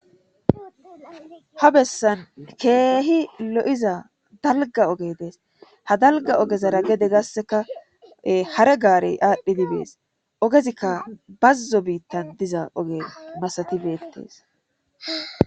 Ha bessan keehi lo'iza dalga oge dees ha dalga ogezara gede gasseka hare gaarey aadhdhi dibees ogezikka bazzo biittan diza oge masati beettees.